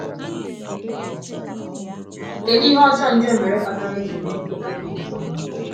kedụ ihe ọjọọ ndị o mere kpatara e ji mee nkweta dị otú ahụ?